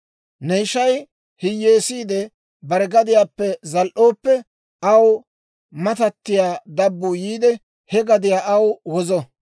« ‹Ne ishay hiyyeesiide bare gadiyaappe zal"ooppe, aw matattiyaa dabbuu yiide, he gadiyaa aw wozo.